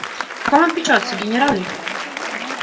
о ком он печётся генерал ли